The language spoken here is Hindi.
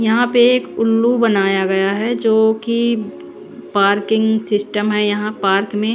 यहां पे एक उल्लू बनाया गया है जोकि पार्किंग सिस्टम है यहां पार्क में--